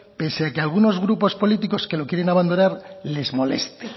pese a que algunos grupos políticos que lo quieren abandonar les moleste